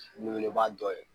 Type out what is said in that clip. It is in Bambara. Welewele ba do ye.